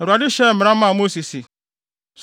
Awurade hyɛɛ mmara maa Mose se,